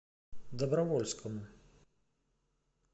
добровольскому